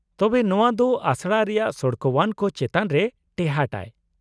ᱛᱚᱵᱮ, ᱱᱚᱶᱟ ᱫᱚ ᱟᱥᱲᱟ ᱨᱮᱭᱟᱜ ᱥᱚᱲᱠᱚᱣᱟᱱ ᱠᱚ ᱪᱮᱛᱟᱱ ᱨᱮ ᱴᱮᱦᱟᱸᱴᱟᱭ ᱾